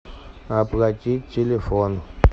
оплатить телефон